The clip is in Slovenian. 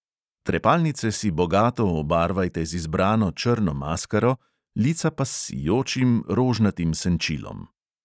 Trepalnice si bogato obarvajte z izbrano črno maskaro, lica pa s sijočim rožnatim senčilom.